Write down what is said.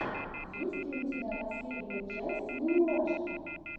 есть ли у тебя последняя часть мимилашки